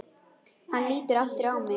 Hann lítur aftur á mig.